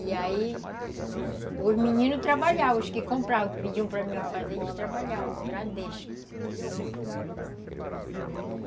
E aí, os meninos trabalhavam, os que compravam, que pediam para mim fazer, eles trabalhavam no Bradesco.